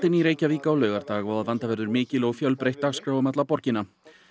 í Reykjavík á laugardag og að vanda verður mikil og fjölbreytt dagskrá um alla miðborgina